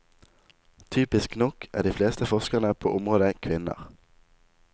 Typisk nok er de fleste forskerne på området kvinner.